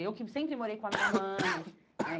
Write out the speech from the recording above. Eu que sempre morei com a minha mãe, né?